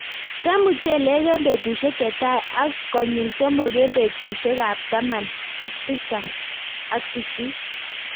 tem muchelek eng' petushek chetai ak konyil somok eng' petushek ab taman tisap ak sisit